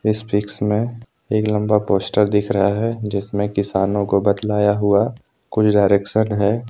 इस पिक्स में एक लंबा पोस्टर दिख रहा है जिसमें किसानों को बतलाया हुआ कुछ डायरेक्शन है।